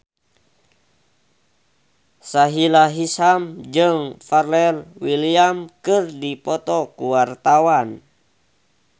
Sahila Hisyam jeung Pharrell Williams keur dipoto ku wartawan